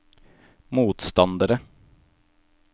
motstandere